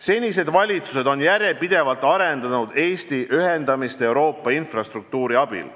Senised valitsused on järjepidevalt arendanud Eesti ühendamist Euroopaga infrastruktuuri abil.